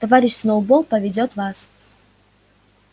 товарищ сноуболл поведёт вас